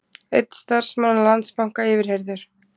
Einn starfsmanna Landsbanka yfirheyrður